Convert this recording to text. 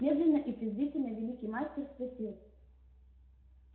медленно и презрительно великий мастер спросил